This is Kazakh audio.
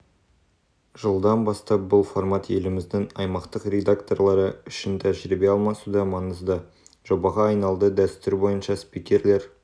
жылдан бастап бұл формат еліміздің аймақтық редакторлары үшін тәжірибе алмасуда маңызды жобаға айналды дәстүр бойынша спикерлер